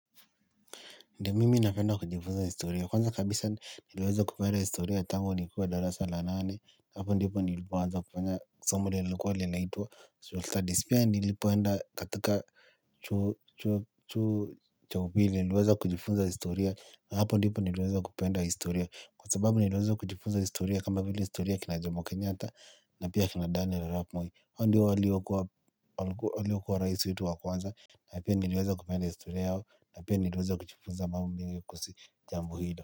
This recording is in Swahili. Ndio mimi napenda kujifunza historia. Kwanza kabisa niliweza kupenda historia tangu nikiwa darasa la nane. Hapo ndipo nilipoanza kufanya somo lenye lilikuwa linaitwa. Social studies pia nilipoenda katika chuo cha upili nilweza kujifunza historia. Hapo ndipo niliweza kupenda historia. Kwa sababu niliweza kujifunza historia kama vile historia kina Jomo kenyatta. Na pia akina Daniiel Arap Moi. Hawa ndio waliokuwa raisi wetu wa kwanza. Na pia niliweza kupenda historia yao na pia niliweza kujifunza mambo mingi kuhusu jambo hilo.